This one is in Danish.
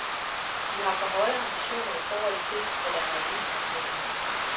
De har for høje ambitioner i forhold til, hvad der er realistisk, mener hun.